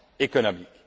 économique.